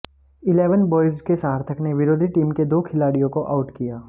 eleven boys के सार्थक ने विरोधी टीम के दो खिलाडि़यों को आउट किया